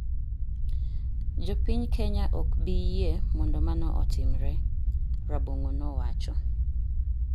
Jo piny Kenya ok bi yie mondo mano otimre," Rabong'o nowacho.